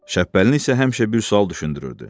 Şəbbəlini isə həmişə bir sual düşündürürdü.